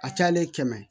A cayalen kɛmɛ